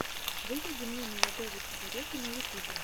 выведи мне молодого чебурека на ютубе